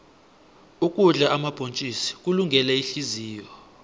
ukudla omabhontjisi kulungele ihliziyo